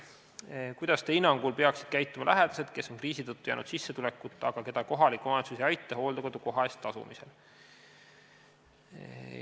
Esimene küsimus: "Kuidas teie hinnangul peaksid käituma lähedased, kes on kriisi tõttu jäänud sissetulekuta, aga keda kohalik omavalitsus ei aita hooldekodu koha eest tasumisel?